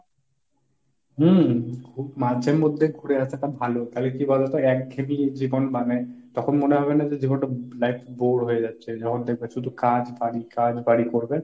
হম ঘু~ মাঝেমধ্যে ঘুরে আসাটা ভালো তাহলে কী বলতো? একঘেয়েমি জীবন মানে তখন মনে হবে যেন যে জীবন টা, life টা bore হয়ে যাচ্ছে। যখন দেখবে শুধু কাজ বাড়ি কাজ বাড়ি করবে।